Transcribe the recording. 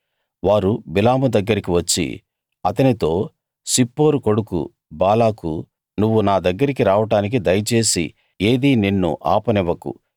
వారు బిలాము దగ్గరికి వచ్చి అతనితో సిప్పోరు కొడుకు బాలాకు నువ్వు నా దగ్గరికి రావడానికి దయచేసి ఏదీ నిన్ను ఆపనివ్వకు